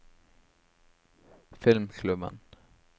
filmklubben